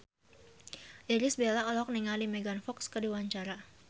Irish Bella olohok ningali Megan Fox keur diwawancara